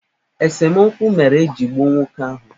Esemokwu mere eji gbuo nwoke ahụ